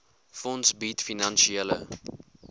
fonds bied finansiële